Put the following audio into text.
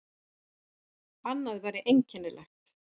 Annað væri einkennilegt.